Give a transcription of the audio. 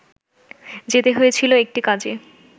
যেতে হয়েছিল একটা কাজে